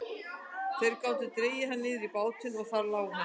Þeir gátu dregið hann niður í bátinn og þar lá hann.